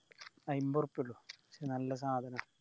അയിമ്പ ഉറുപ്പിയൊള്ളു നല്ല സാധന